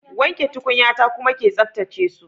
Wanke tukunyata kuma ke tsaftace su.